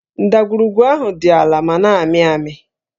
Ndagwurugwu ahụ dị àlà ma na-ámị̀ ámị̀